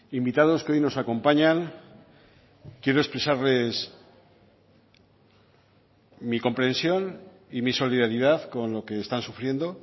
invitados que hoy nos acompañan quiero expresarles mi comprensión y mi solidaridad con lo que están sufriendo